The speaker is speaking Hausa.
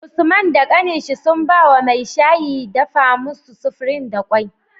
Usman da kanin shi sun bawa mai shayi dafa musu supreme da kwai